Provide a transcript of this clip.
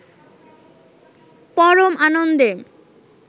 পরম আনন্দে